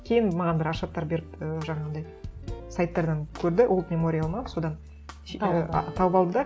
кейін маған бір хаттар беріп і жаңағындай сайттардан көрді олд мемориал ма содан ііі тауып алды да